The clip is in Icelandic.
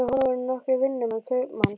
Með honum voru nokkrir vinnumenn kaupmanns.